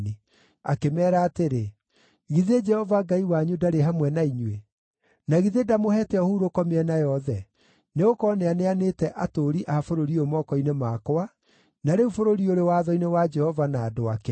Akĩmeera atĩrĩ, “Githĩ Jehova Ngai wanyu ndarĩ hamwe na inyuĩ? Na githĩ ndamũheete ũhurũko mĩena yothe? Nĩgũkorwo nĩaneanĩte atũũri a bũrũri ũyũ moko-inĩ makwa, na rĩu bũrũri ũrĩ watho-inĩ wa Jehova na andũ ake.